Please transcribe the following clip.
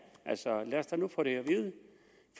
lad os da nu få det